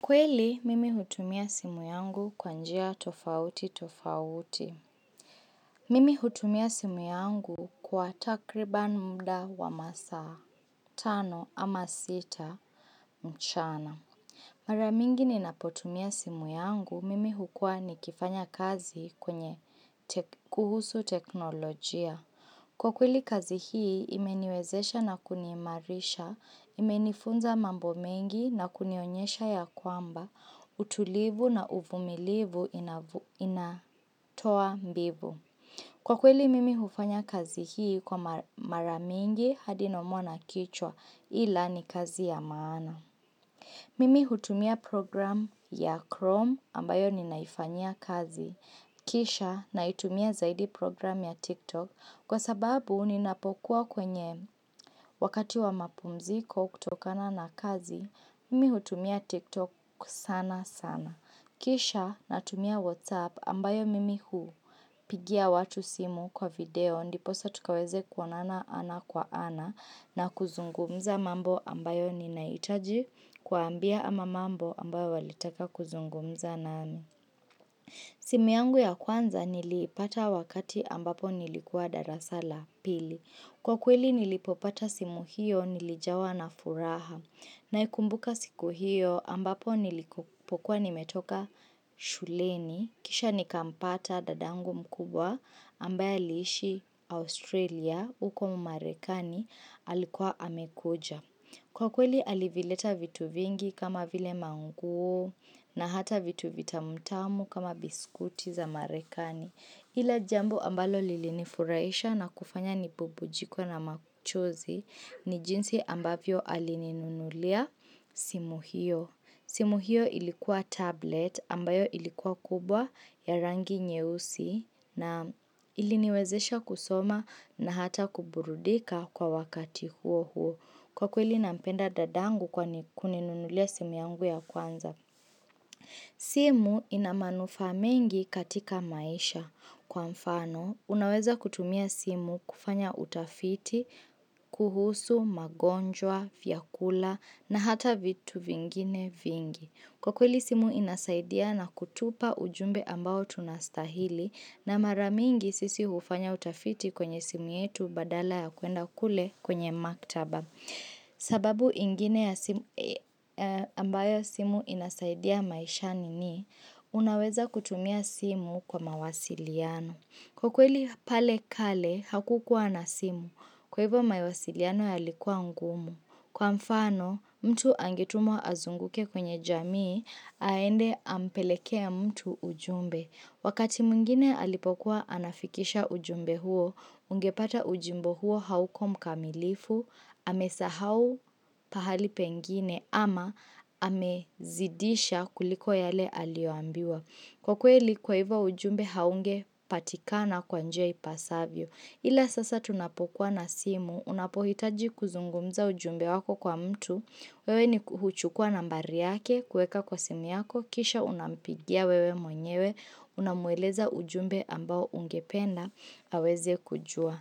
Kweli, mimi hutumia simu yangu kwa njia tofauti tofauti. Mimi hutumia simu yangu kwa takriban muda wa masaa tano ama sita mchana. Mara mingi ninapotumia simu yangu, mimi hukua nikifanya kazi kuhusu teknolojia. Kwa kweli kazi hii imeniwezesha na kuniimarisha, imenifunza mambo mengi na kunionyesha ya kwamba, utulivu na uvumilivu inatoa mbivu. Kwa kweli mimi hufanya kazi hii kwa mara mingi hadi nausea na kichwa ila ni kazi ya maana. Mimi hutumia program ya Chrome ambayo ninaifanyia kazi. Kisha naitumia zaidi program ya TikTok kwa sababu ninapokuwa kwenye wakati wa mapumziko kutokana na kazi, mimi hutumia TikTok sana sana. Kisha natumia WhatsApp ambayo mimi hupigia watu simu kwa video ndiposa tukaweze kuonana ana kwa ana na kuzungumza mambo ambayo ninahitaji kuwambia ama mambo ambayo walitaka kuzungumza nami. Simu yangu ya kwanza nilipata wakati ambapo nilikuwa darasala pili. Kwa kweli nilipopata simu hiyo nilijawa na furaha. Naikumbuka siku hiyo ambapo nilipokuwa nimetoka shuleni. Kisha nikampata dadangu mkubwa ambaye aliishi Australia uko marekani alikuwa amekuja Kwa kweli alivileta vitu vingi kama vile manguo na hata vitu vitamu tamu kama biskuti za marekani. Lile jambo ambalo lilinifuraisha na kufanya nibubujikwe na machozi ni jinsi ambavyo alininunulia simu hiyo. Simu hiyo ilikuwa tablet ambayo ilikuwa kubwa ya rangi nyeusi na iliniwezesha kusoma na hata kuburudika kwa wakati huo huo. Kwa kweli nampenda dadangu kwa kuninunulia simu yangu ya kwanza. Simu ina manufaa mengi katika maisha. Kwa mfano, unaweza kutumia simu kufanya utafiti, kuhusu, magonjwa, fya kula na hata vitu vingine vingi. Kwa kweli simu inasaidia na kutupa ujumbe ambao tunastahili na mara mingi sisi hufanya utafiti kwenye simu yetu badala ya kwenda kule kwenye maktaba. Sababu ingine ambayo simu inasaidia maishani ni, unaweza kutumia simu kwa mawasiliano. Kwa kweli pale kale, hakukuwa na simu. Kwa hivyo mawasiliano yalikuwa ngumu. Kwa mfano, mtu angetumwa azunguke kwenye jamii, aende ampelekee mtu ujumbe. Wakati mwingine alipokuwa anafikisha ujumbe huo, ungepata ujumbe huo hauko mkamilifu, amesahau pahali pengine ama amezidisha kuliko yale aliyoambiwa. Kwa kweli, kwa hivyo ujumbe haungepatikana kwa njia ipasavyo. Ila sasa tunapokuwa na simu, unapohitaji kuzungumza ujumbe wako kwa mtu. Wewe nikuchukua nambari yake, kueka kwa simu yako, kisha unampigia wewe mwenyewe, unamueleza ujumbe ambao ungependa, haweze kujua.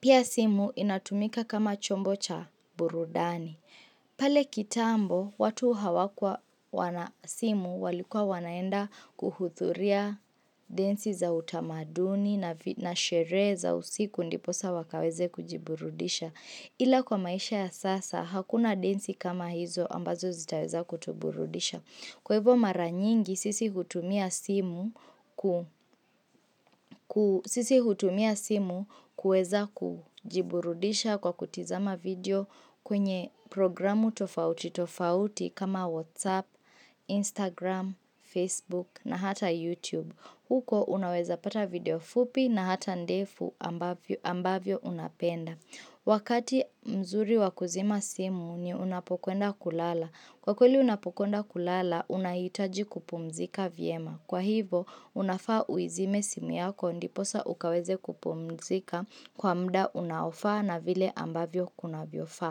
Pia simu inatumika kama chombo cha burudani. Pale kitambo, watu hawakuwa wana simu walikua wanaenda kuhuthuria densi za utamaduni na sherehe za usiku ndiposa wakaweze kujiburudisha. Ila kwa maisha ya sasa, hakuna densi kama hizo ambazo zitaweza kutuburudisha. Kwa hivyo mara nyingi sisi kutumia simu kuweza kujiburudisha kwa kutizama video kwenye programu tofauti tofauti kama Whatsapp, Instagram, Facebook na hata YouTube. Huko unaweza pata video fupi na hata ndefu ambavyo unapenda. Wakati mzuri wakuzima simu ni unapokwenda kulala. Kwa kweli unapokwenda kulala unahitaji kupumzika vyema. Kwa hivyo unafaa uizime simu yako ndiposa ukaweze kupumzika kwa muda unaofaa na vile ambavyo kuna viofaa.